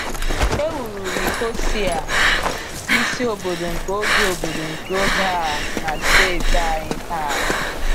E wuru Nicosia, isi obodo nke oge obodo nke oge a, na saịtị a taa.